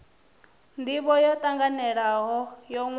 ndivho yo tanganelaho yo wanwaho